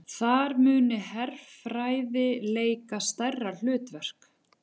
Þar muni herfræði leika stærra hlutverk